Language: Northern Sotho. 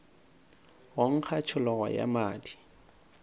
go nkga tšhologo ya madi